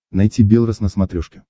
найти белрос на смотрешке